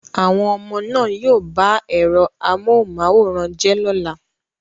Àwọn ọmọ náà yóò ba ẹ̀rọ amóhùnmáwòrán jẹ́ lọ́la